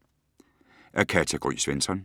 Af Katja Gry Svensson